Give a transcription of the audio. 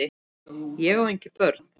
Ég á engin börn!